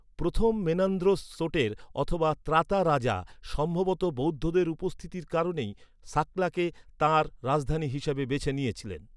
প্রথম মেনান্দ্রোস সোটের অথবা "ত্রাতা রাজা", সম্ভবত বৌদ্ধদের উপস্থিতির কারণেই সাকলাকে তাঁর রাজধানী হিসাবে বেছে নিয়েছিলেন।